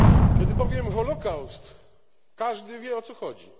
Kiedy powiem Holokaust, każdy wie, o co chodzi.